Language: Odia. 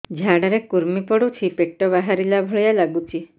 ଝାଡା ରେ କୁର୍ମି ପଡୁଛି ପେଟ ବାହାରିଲା ଭଳିଆ ଲାଗୁଚି